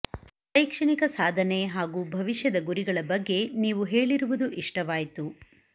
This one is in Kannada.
ಶೈಕ್ಷಣಿಕ ಸಾಧನೆ ಹಾಗೂ ಭವಿಷ್ಯದ ಗುರಿಗಳ ಬಗ್ಗೆ ನೀವು ಹೇಳಿರುವುದು ಇಷ್ಟವಾಯಿತು